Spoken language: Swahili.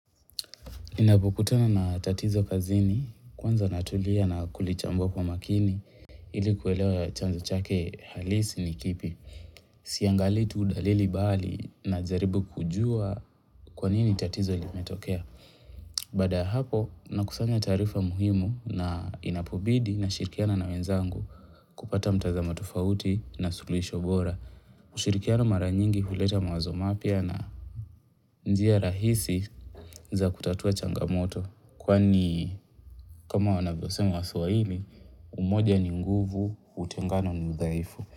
Inapokutana na tatizo kazini, kwanza natulia na kulichambua kwa makini, ilikuwelewa chanzo chake halisi ni kipi. Siangalii tu dalili bali najaribu kujua kwa nini tatizo limetokea. Baada ya hapo, nakusanya tarifa muhimu na inapobidi nashirikiana na wenzangu kupata mtazamo tofauti na suluhisho bora. Ushirikiano mara nyingi huleta mawazo mapya na njia rahisi za kutatua changamoto kwani kama wanavyo sema waswahili umoja ni nguvu, utengano ni udhaifu.